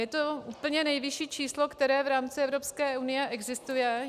Je to úplně nejvyšší číslo, které v rámci Evropské unie existuje.